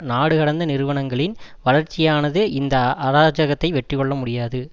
நாடுகடந்த நிறுவனங்களின் வளர்ச்சியானதுஇந்த அராஜகத்தை வெற்றிகொள்ளமுடியாது